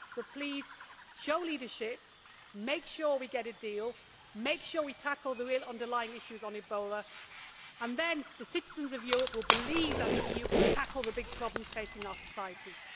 So please, show leadership, make sure we get a deal, make sure we tackle the real underlying issues on Ebola and then the citizens of Europe will believe that the EU can tackle the big problems facing our societies.